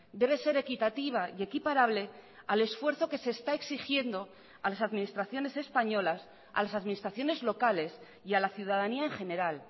debe ser equitativa y equiparable al esfuerzo que se está exigiendo a las administraciones españolas a las administraciones locales y a la ciudadanía en general